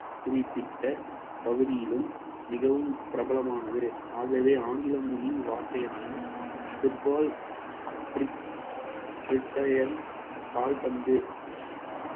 குறிப்பிட்ட பகுதியிலும் மிகவும் பிரபலமானது ஆகவே ஆங்கில மொழி வார்த்தையான football கால்பந்து